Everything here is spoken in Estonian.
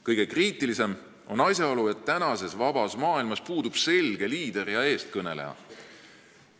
Kõige kriitilisem on asjaolu, et praeguses vabas maailmas puudub selge liider ja eestkõneleja.